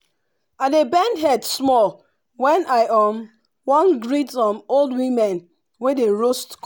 i dey bend head small when i um wan greet um old women wey dey roast co